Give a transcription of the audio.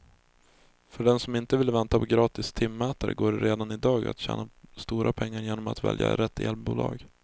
För den som inte vill vänta på gratis timmätare går det redan i dag att tjäna stora pengar genom att välja rätt elbolag.